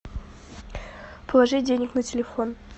положи денег на телефон